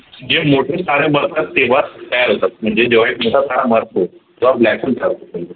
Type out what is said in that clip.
जे मोठे तारे मरतात तेव्हा तयार होतात म्हणजे जेव्हा एक मोठा तारा मरतो तेव्हा black hole तयार होतो